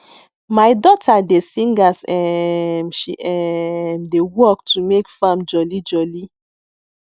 my daughter dey sing as um she um dey work to make farm jolly jolly